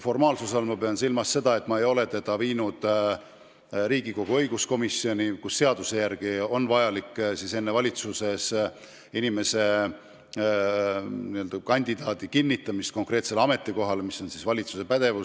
Formaalsuse all ma pean silmas seda, et ma ei ole oma kandidaati viinud Riigikogu õiguskomisjoni, kes peab seaduse järgi kandidaadi enne ära kuulama, kui tema kinnitamine konkreetsele ametikohale valitsusse arutamisele läheb.